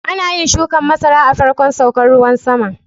Ana yin shukan masara a farkon saukan ruwan sama.